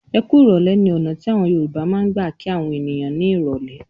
"Ẹ kú ìrọ́lẹ́" ní ọ̀nà tí àwọn Yorùbá máa ń gbà kí àwọn ènìyàn ní ìrọ́lẹ́.